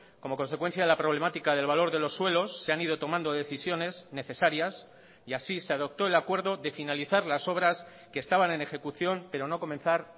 como consecuencia de la problemática del valor de los suelos se han ido tomando decisiones necesarias y así se adoptó el acuerdo de finalizar las obras que estaban en ejecución pero no comenzar